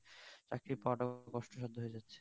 চাকরি পাওয়া টা কস্ট সাধ্য হয়ে যাচ্ছে